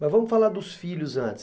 Mas vamos falar dos filhos antes.